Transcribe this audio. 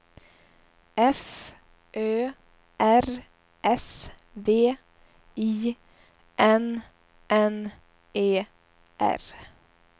F Ö R S V I N N E R